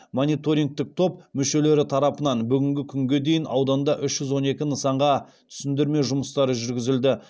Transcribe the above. мониторингтік топ мүшелері тарапынан бүгінгі күнге дейін ауданда үш жүз он екі нысанға түсіндірме жұмыстары жүргізілді